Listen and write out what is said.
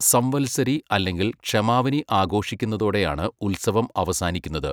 സംവത്സരി അല്ലെങ്കിൽ ക്ഷമാവനി ആഘോഷിക്കുന്നതോടെയാണ് ഉത്സവം അവസാനിക്കുന്നത്.